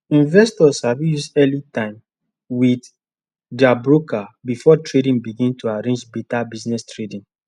investors sabi use early time with their broker before trading begin to arrange better business trading